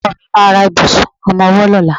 Ọkọ mi ma ra ìbùsùn ọmọwọ́ lọ́la.